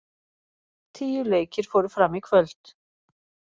Tíu leikir fóru fram í kvöld